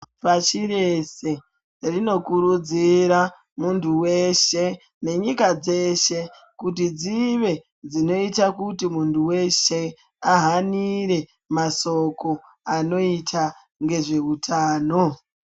Pasi reshe rinokurudzira muntu weshe nenyika dzeshe kuti dzive dzinoita kuti muntu weshe ahanire masoko anoita nezveutano.